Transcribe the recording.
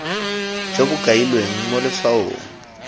jo bo kailweng mo letshwaong